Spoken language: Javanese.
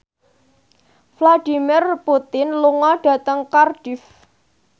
Vladimir Putin lunga dhateng Cardiff